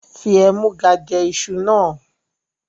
Fi ẹ̀múga jẹ́ ìṣù náà!